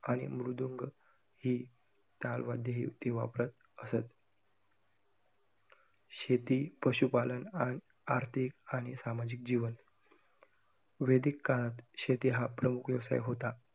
आणि मृदुंग हे ताल वाद्यही ते वापरत असतं. शेती, पशुपालन आणि आर्थिक आणि सामाजिक जीवन. वेदीक काळात शेती हा प्रमुख व्यवसाय होता.